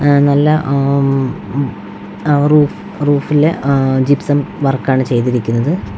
അ നല്ല ആ അ റൂഫ് റൂഫിലെ ജിപ്സം വർക്കാണ് ചെയ്തിരിക്കുന്നത് .